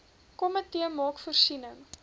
komitee maak voorsiening